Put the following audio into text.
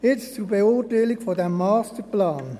Jetzt zur Beurteilung dieses Masterplans: